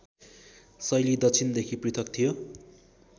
शैली दक्षिणदेखि पृथक थियो